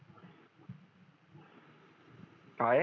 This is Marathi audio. काय